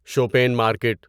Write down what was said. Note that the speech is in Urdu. شوپین مارکیٹ